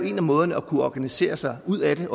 en af måderne at kunne organisere sig ud af det